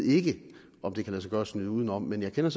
ikke ved om det kan lade sig gøre at snyde udenom men jeg kender